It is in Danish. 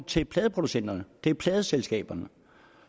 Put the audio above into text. til pladeproducenterne til pladeselskaberne